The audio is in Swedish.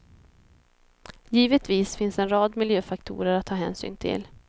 Givetvis finns en rad miljöfaktorer att ta hänsyn till.